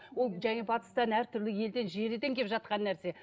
ол және батыстан әртүрлі елден желіден келіп жатқан нәрсе